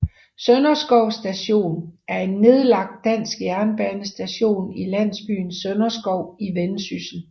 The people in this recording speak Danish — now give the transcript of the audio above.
Sønderskov Station er en nedlagt dansk jernbanestation i landsbyen Sønderskov i Vendsyssel